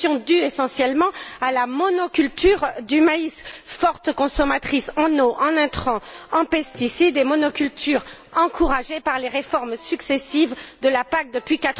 Cette pollution est due essentiellement à la monoculture du maïs, forte consommatrice en eau, en intrants et en pesticides, monoculture encouragée par les réformes successives de la PAC depuis